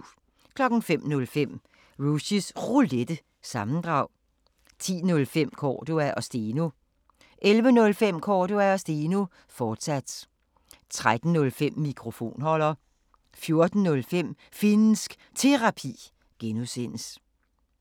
05:05: Rushys Roulette – sammendrag 10:05: Cordua & Steno 11:05: Cordua & Steno, fortsat 13:05: Mikrofonholder 14:05: Finnsk Terapi (G)